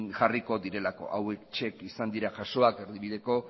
jarriko direlako hauexek izan dira jasoak erdibideko